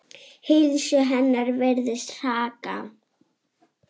Heilsu hennar virðist hraka.